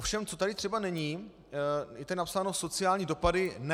Ovšem, co tady třeba není - je tady napsáno: sociální dopady - ne.